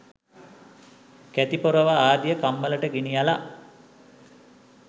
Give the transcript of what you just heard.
කැති පොරව ආදිය කම්මලට ගෙනියල